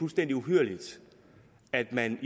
fuldstændig uhyrligt at man